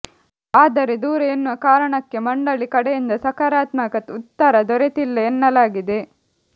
ಆದರೆ ದೂರ ಎನ್ನುವ ಕಾರಣಕ್ಕೆ ಮಂಡಳಿ ಕಡೆಯಿಂದ ಸಕಾರಾತ್ಮಕ ಉತ್ತರ ದೊರೆತ್ತಿಲ್ಲ ಎನ್ನಲಾಗಿದೆ